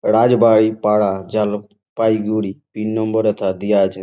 Rajbai Para Jalpaiguri pin number হেথা দিয়া আছে।